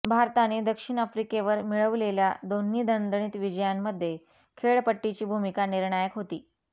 भारताने दक्षिण आफ्रिकेवर मिळवलेल्या दोन्ही दणदणीत विजयांमध्ये खेळपट्टीची भूमिका निर्णायक होती